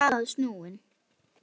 Sem stendur er staðan snúin.